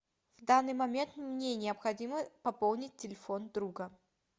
в данный момент мне необходимо пополнить телефон друга